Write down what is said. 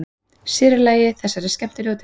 Sér í lagi í þessari skemmtilegu deild.